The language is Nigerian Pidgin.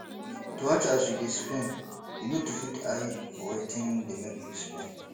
to watch as yu dey spend yu nid put eye for wetin dey mek yu spend